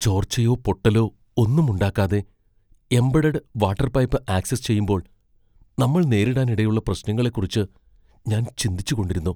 ചോർച്ചയോ, പൊട്ടലോ ഒന്നും ഉണ്ടാക്കാതെ എംബഡഡ് വാട്ടർ പൈപ്പ് ആക്സസ് ചെയ്യുമ്പോൾ നമ്മൾനേരിടാനിടയുള്ള പ്രശ്നങ്ങളെക്കുറിച്ച് ഞാൻ ചിന്തിച്ചുകൊണ്ടിരുന്നു.